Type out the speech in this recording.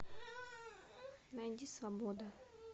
найди свобода